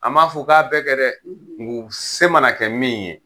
A m'a fɔ k'a bɛɛ kɛ dɛ! , k'o se mana kɛ min ye.